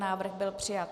Návrh byl přijat.